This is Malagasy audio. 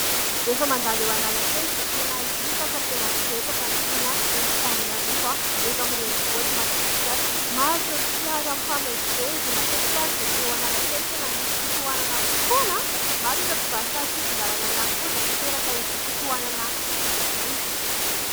Rehefa mandalo eo Analakely dia tena hita fa tena betsaka ny mponina eto Antananarivo, eto amin'ny renivohitr'i Madagasikara. Maro ireo fiara mifamezivezy ; matetika ary dia eo Analakely tena misy fitohanana foana. Maro ireo mpivarotra an-tsisin-dàlana ihany koa izay miteraka izay fitohanana izay.